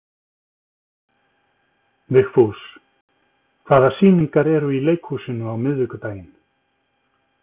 Vigfús, hvaða sýningar eru í leikhúsinu á miðvikudaginn?